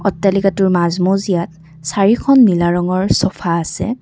অট্টালিকাটোৰ মাজ মজিয়াত চাৰিখন নীলা ৰঙৰ চোফা আছে।